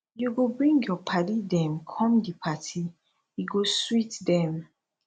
you go bring your paddy dem come di party e go sweet dem